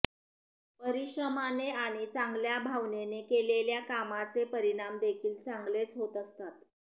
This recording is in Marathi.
परिश्रमाने आणि चांगल्या भावनेने केलेल्या कामाचे परिणाम देखिल चांगलेच होत असतात